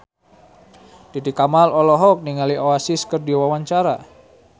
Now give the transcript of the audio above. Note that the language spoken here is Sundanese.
Titi Kamal olohok ningali Oasis keur diwawancara